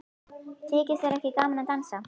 Þykir þér ekki gaman að dansa?